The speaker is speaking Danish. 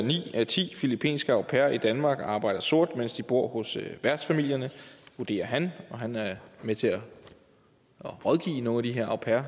af ti filippinske au pairer i danmark arbejder sort mens de bor hos værtsfamilien vurderer han han er med til at rådgive nogle af de her au pairer